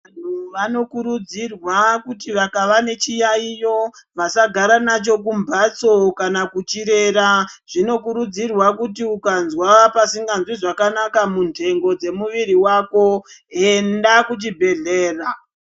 Vanhu vanokurudzirwa kuti vakava nechiyayiyo vasagara nacho kumbatso kana kuchirera. Zvinokurudzirwa kuti ukanzwa pasinganzwi zvakanaka mundengo dzemuviri wako enda kuchi bhehlera.